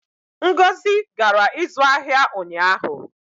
ngozi gara ịzụ ahịa ụnyaahụ